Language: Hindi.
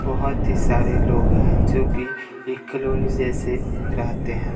बहोत ही सारे लोग है जो कि एक कोलोनी जैसे रहते है।